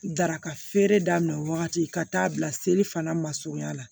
Daraka feere daminɛ wagati ka taa bila seli fana masurunya la